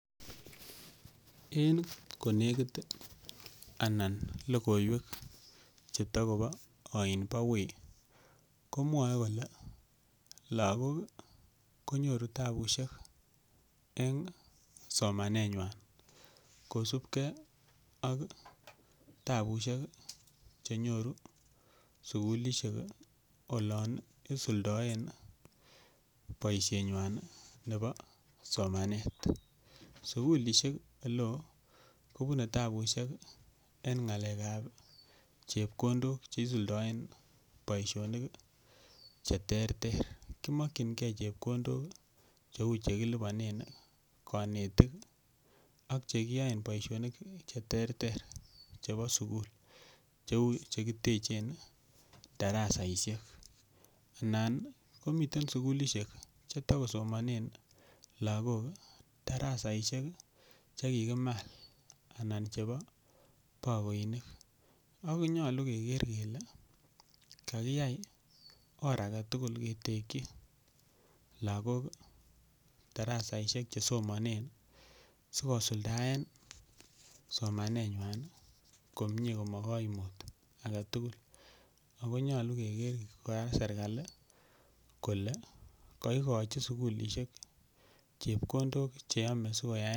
En konekit anan logoiwek che ta kopa ain pa wui komwae kole lagok konyoru tapushek eng' somanenywan kosupgei ak tapushek che nyoru sukulishek olan isuldaen poishenywan nepa somanet. Sukulishek ole oo ko pune tapushek eng' ng'alek ap chepkondok che isuldaen poishonik che terter. Kimakchingei chepkondok cheu che kilipanen kanetik ak che kiyaen poishonik che terter chepo sukul cheu che kitechen darasaishek. Anan komiten sukulishek che ta kosomanen lagok darasaishek che kikimal, anan chepo pakoinik ako nyalu keker kele kakiyai or age tugul ketekchi lagok darasaishek che somanen asikopit kosuldaen somanenywan komye ko ma kaimut age tugul. Ako nyalu keker kora serkali kole kaikachi serkali sukulishek chepkondok che ya si koyaen poishoni(uh)